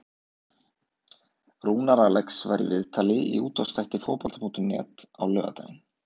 Rúnar Alex var í viðtali í útvarpsþætti Fótbolta.net á laugardaginn.